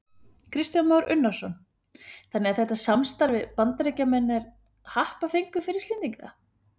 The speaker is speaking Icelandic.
Kristján Már Unnarsson: Þannig að þetta samstarf við Bandaríkjamenn er happafengur fyrir Íslendinga?